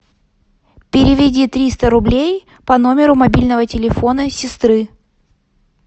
переведи триста рублей по номеру мобильного телефона сестры